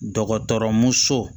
Dɔgɔtɔrɔmuso